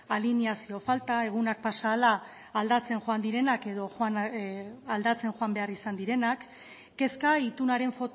alineazio falta egunak pasa ahala aldatzen joan direnak edo aldatzen joan behar izan direnak kezka itunaren